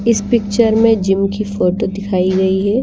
इस पिक्चर में जिम की फोटो दिखाई गई हैं।